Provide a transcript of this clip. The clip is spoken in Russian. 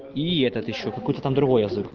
и этот ещё какой-то там другой язык